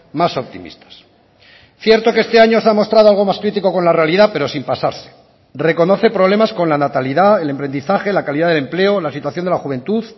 más optimistas cierto que este año se ha mostrado algo más crítico con la realidad pero sin pasarse reconoce problemas con la natalidad el emprendizaje la calidad de empleo la situación de la juventud